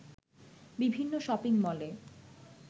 বিভিন্ন শপিংমলে